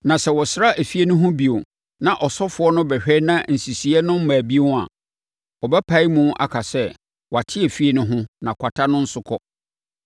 “Na sɛ wɔsra efie no ho bio na ɔsɔfoɔ no bɛhwɛ na nsisiiɛ no mmaa bio a, ɔbɛpae mu aka sɛ wɔate efie no ho na kwata no nso kɔ.